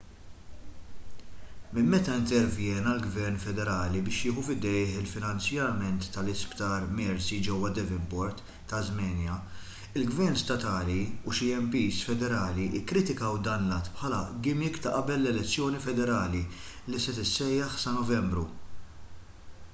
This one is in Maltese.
minn meta intervjena l-gvern federali biex jieħu f'idejh il-finanzjament tal-isptar mersey ġewwa devonport tasmania il-gvern statali u xi mps federali kkritikaw dan l-att bħala gimmick ta' qabel l-elezzjoni federali li se tissejjaħ sa novembru